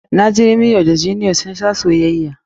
Na ji Romiyo da Jeliyet sun sha soyayya.